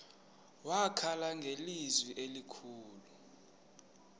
wakhala ngelizwi elikhulu